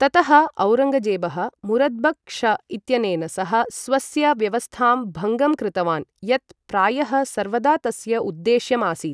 ततः औरङ्गजेबः मुरद्बक्श इत्यनेन सह स्वस्य व्यवस्थां भङ्गं कृतवान्, यत् प्रायः सर्वदा तस्य उद्देश्यम् आसीत्।